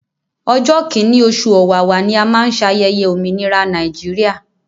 Ọjọ́ kíní oṣù ọ̀wàwà ni a má ń ṣayẹyẹ òmìnira Nàìjíríà.